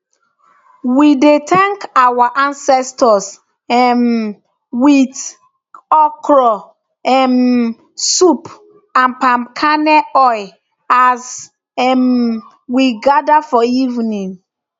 we dey thank our ancestors um with with okra um soup and palm kernel oil as um we gather for evening